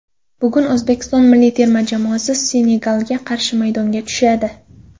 Bugun O‘zbekiston milliy terma jamoasi Senegalga qarshi maydonga tushadi .